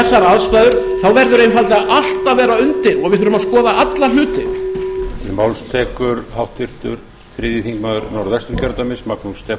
að vera undir og við þurfum að skoða alla hluti klára á en ms fer í næsta skjal